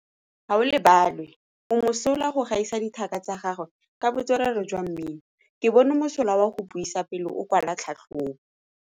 Gaolebalwe o mosola go gaisa dithaka tsa gagwe ka botswerere jwa mmino. Ke bone mosola wa go buisa pele o kwala tlhatlhobô.